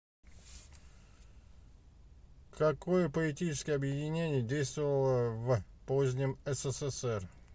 какое поэтическое объединение действовало в позднем ссср